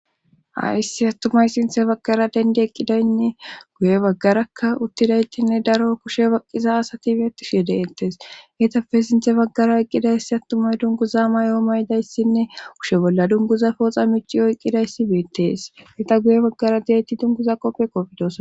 Ayssi attumay sinthe baggara dendi eqqidaynne guye baggarakka uttidaytinne daro kushe baqqiza asati bi etishye dettees hitappe sinthe baggara eqqidayssi attumay dunguza may7o maydayssinne kushe bolla dunguza pooxa mici oyqqidayssi beettes ita guye baggara diyaytti dunguza qoppe qofidos